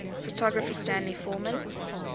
photographer stanley forman